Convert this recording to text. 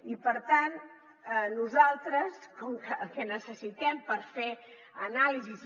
i per tant nosaltres com que el que necessitem per fer anàlisis